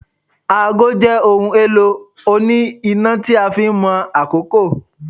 Aago jé ohun elo oni ina tí a fin Mo àkókò